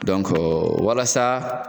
walasa